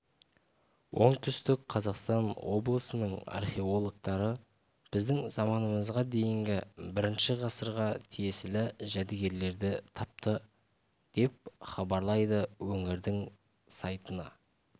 оңтүстік қазақстан облысының археологтары біздің заманымызға дейінгі бірінші ғасырға тиесілі жәдігерлерді тапты деп хабарлайды өңірдің сайтына